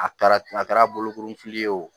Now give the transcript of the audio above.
A kɛra a kɛra bolokuru fili ye o